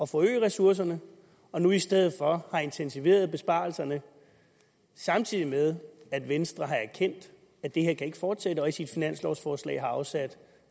forøge ressourcerne men nu i stedet for har intensiveret besparelserne samtidig med at venstre har erkendt at det her ikke kan fortsætte og i sit finanslovforslag har afsat